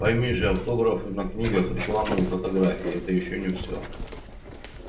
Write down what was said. пойми же автографы на книгах рекламные фотографии это ещё не всё